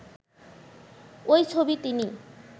ওই ছবি তিনি